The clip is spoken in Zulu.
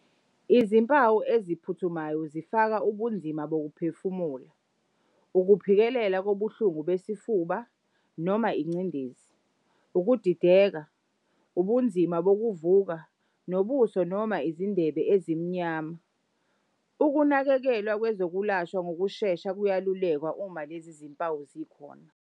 Izimpawu eziphuthumayo zifaka ubunzima bokuphefumula, ukuphikelela kobuhlungu besifuba noma ingcindezi, ukudideka, ubunzima bokuvuka, nobuso noma izindebe ezimnyama, ukunakekelwa kwezokwelashwa ngokushesha kuyelulekwa uma lezi zimpawu zikhona.